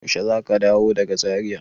Yaushe za ka dawo daga Zaria?